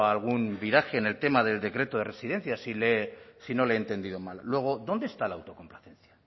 algún viraje en el tema del decreto de residencias si no le he entendido mal luego dónde está la autocomplacencia